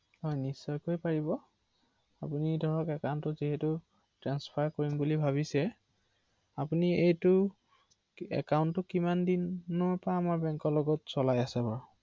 হয়